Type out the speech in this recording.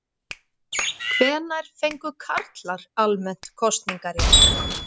Hvenær fengu karlar almennt kosningarétt?